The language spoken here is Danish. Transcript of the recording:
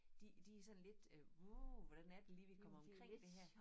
De de sådan lidt øh uh hvordan er det lige vi kommer omkring det her